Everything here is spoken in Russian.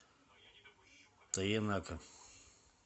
тоенака